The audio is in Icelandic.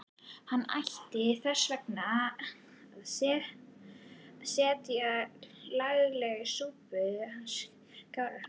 Hann gæti þess vegna setið laglega í súpunni hann Skarphéðinn.